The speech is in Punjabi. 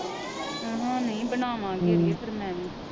ਆਹਾ ਨਹੀਂ ਬਣਾਵਾਂਗੀ ਅੜੀਏ ਫਿਰ ਮੈ ਵੀ